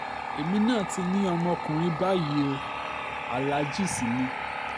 èmi náà ti ní ọmọkùnrin báyìí o aláàjì sì ni